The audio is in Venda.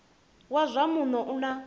wa zwa muno u na